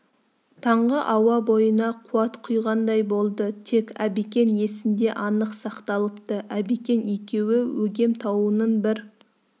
таңғы ауа бойына қуат құйғандай болды тек әбекең есінде анық сақталыпты әбекең екеуі өгем тауының бір